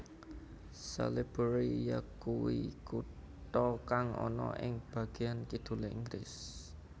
Salisbury yakuwi kutha kang ana ing bageyan kidulé Inggris